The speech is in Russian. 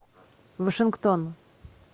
вашингтон